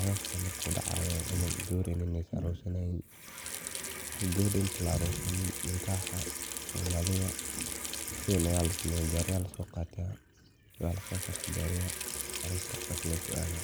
arooska markuu dacaayo camal gawar iyo nin aay aroos galayiin, Gabadha inti la aroosin ninkaxa somaalida sidhan ayaa lasameeya gaariya ayaa lasoo qaata, waa laqurxiya gaariyaha arooska sidhaas losoo aada.